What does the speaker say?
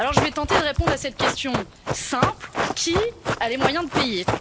Alors je vais tenter de répondre à cette question simple qui a les moyens de payer?